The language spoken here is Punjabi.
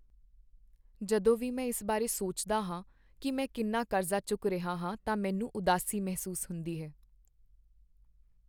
ਜਦੋਂ ਵੀ ਮੈਂ ਇਸ ਬਾਰੇ ਸੋਚਦਾ ਹਾਂ ਕਿ ਮੈਂ ਕਿੰਨਾ ਕਰਜ਼ਾ ਚੁੱਕ ਰਿਹਾ ਹਾਂ ਤਾਂ ਮੈਨੂੰ ਉਦਾਸੀ ਮਹਿਸੂਸ ਹੁੰਦੀ ਹੈ।